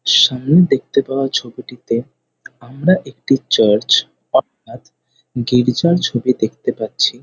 সামনে দেখতে পাওয়া ছবিটিতে আমরা একটি চার্চ অর্থাৎ গির্জার ছবি দেখতে পাচ্ছি।